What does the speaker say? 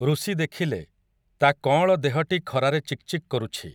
ଋଷି ଦେଖିଲେ, ତା କଅଁଳ ଦେହଟି ଖରାରେ ଚିକ୍ ଚିକ୍ କରୁଛି ।